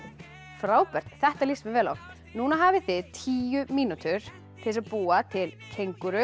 frábært þetta líst mér vel á núna hafið þið tíu mínútur til að búa til